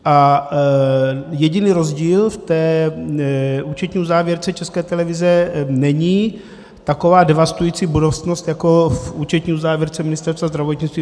A jediný rozdíl v té účetní uzávěrce České televize není taková devastující budoucnost jako v účetní uzávěrce Ministerstva zdravotnictví.